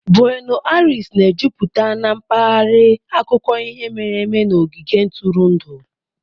Bueno Airis na-ejupụta na mpaghara akụkọ ihe mere eme na ogige ntụrụndụ.